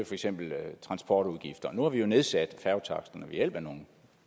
for eksempel transportudgifter nu har vi nedsat færgetaksterne ved hjælp af nogle